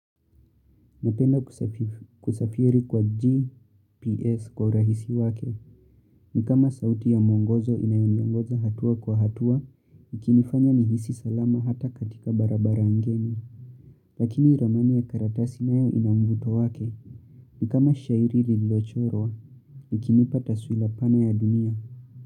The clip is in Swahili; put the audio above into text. Napenda kusafiri kwa GPS kwa urahisi wake. Ni kama sauti ya mwongozo inayoniongoza hatua kwa hatua, nikini fanya nihisi salama hata katika barabara ngeni. Lakini ramani ya karatasi nayo inamvuto wake. Ni kama shairi lilochorwa, ikinipataswila pana ya dunia.